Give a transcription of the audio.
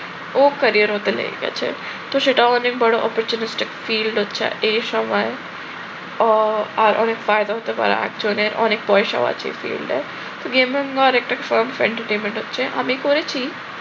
ওর career এ হয়তো লেগে গেছে। তো সেটা অনেক বড় opportunity felt হচ্ছে এই সময় আহ আর অনেক ফায়দা হতে পারে একজনের। অনেক পয়সাও আছে এই ফিল্ড এ gaming এর একটা entertainment হচ্ছে আমি করেছি